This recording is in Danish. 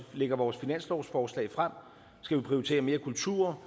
lægger vores finanslovsforslag frem skal vi prioritere mere kultur